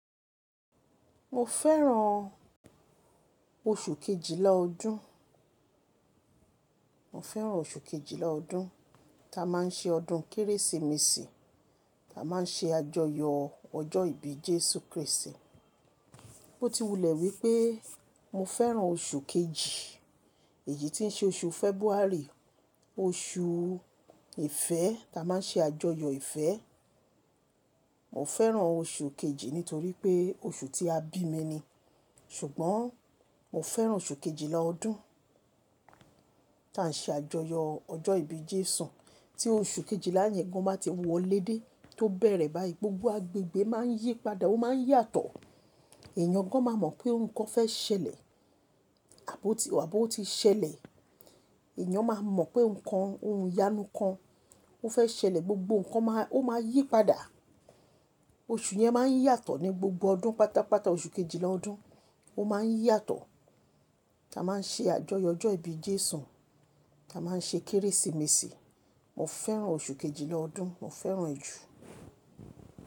Mo fẹ́ràn oṣù kejìlá ọdún, mo fẹ́ràn oṣù kejìlá ọdún ta máa ń ṣe ọdún Kérésìmesì, ta máa ń ṣe àjọyọ̀ ọjọ́ ìbí Jésù Krístì. Ó ti wulẹ̀ wípé mo fẹ́ràn oṣù kejì, èyí tí ń ṣe oṣù February, oṣù ìfẹ́ ta máa ń ṣe àjọyọ̀ ìfẹ́. Mo fẹ́ràn oṣù kejì nítorí pé oṣù tí a bí mi ni. Ṣùgbọ́n mo fẹ́ràn oṣù kejìlá ọdún tan ṣe àjọyọ̀ ọjọ́ ìbí Jésù. Tí oṣù kejìlá yẹn gan bá ti wọlé dé tó bẹ̀rẹ̀ báyìí, gbogbo agbègbè máa ń yípadà ó máa ń yàtọ̀. Ẹ̀yán gan máa mọ̀ pé ohun kan fẹ́ ṣẹlẹ̀ àb'ó tí wà, àb'ó tí ṣẹlẹ̀. Ẹ̀yán máa mọ̀ pé ǹkan, ohun ìyanu kan ó fẹ́ ṣẹlẹ̀ gbogbo ǹkan máa, ó máa yípadà. Oṣù yẹn máa ń yàtọ̀ ní gbogbo ọdún pátápátá oṣù kejìlá ọdún ó máa ń yàtọ̀. Ta máa ń ṣe àjọyọ̀ ọjọ́ ìbí Jésù, ta máa ń ṣe Kérésìmesì. Mo fẹ́ràn oṣù kejìlá ọdún, mo fẹ́ràn rẹ̀ jù.